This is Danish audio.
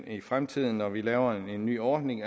i fremtiden når vi laver en ny ordning